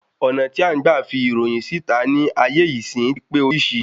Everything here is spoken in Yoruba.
Ọ̀nà tí à ń gbà fi ìròyìn sí ìta ní ayé ìsín ti pé orísìí